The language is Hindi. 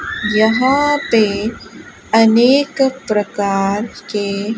यहां पे अनेक प्रकार के--